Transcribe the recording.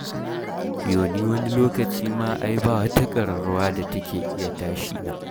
Yo ni wani lokaci ma ai ba wata ƙararrawa da take iya tashi na.